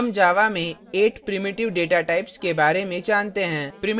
हम java में 8 primitive प्राथमिक data types के बारे में जानते हैं